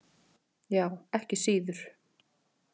Já, ekki síður.